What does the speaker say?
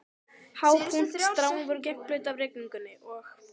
Há punt- stráin voru gegnblaut af rigningunni, og